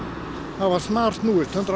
hafa snarsnúist hundrað